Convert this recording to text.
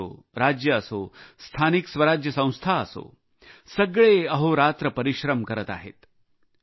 केंद्र असो राज्य असो स्थानिक स्वराज्य संस्था असो सगळे अहोरात्र परिश्रम करत आहेत